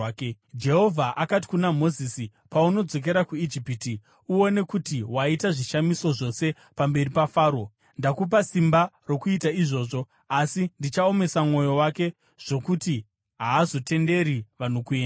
Jehovha akati kuna Mozisi, “Paunodzokera kuIjipiti, uone kuti waita zvishamiso zvose pamberi paFaro, ndakupa simba rokuita izvozvo. Asi ndichaomesa mwoyo wake zvokuti haazotenderi vanhu kuenda.